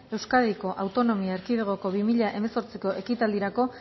euskadiko autonomia erkidegoko bi mila hemezortziko ekitaldirako